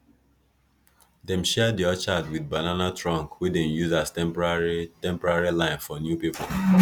dem share di orchard with banana trunk wey dem use as temporary temporary line for new people